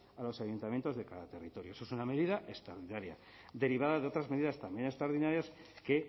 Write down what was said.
a los ayuntamientos de cada territorio eso es una medida extraordinaria derivada de otras medidas también extraordinarias que